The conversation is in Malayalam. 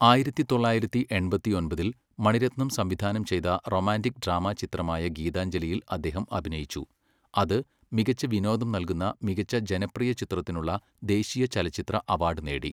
ആയിരത്തി തൊള്ളായിരത്തി എൺപത്തി ഒമ്പതിൽ, മണിരത്നം സംവിധാനം ചെയ്ത റൊമാന്റിക് ഡ്രാമ ചിത്രമായ ഗീതാഞ്ജലിയിൽ അദ്ദേഹം അഭിനയിച്ചു, അത് മികച്ച വിനോദം നൽകുന്ന മികച്ച ജനപ്രിയ ചിത്രത്തിനുള്ള ദേശീയ ചലച്ചിത്ര അവാഡ് നേടി.